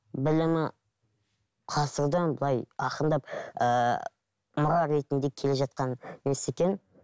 білімі құрастырудан былай ақырындап ыыы мұра ретінде келе жатқан несі екен